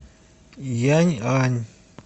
яньань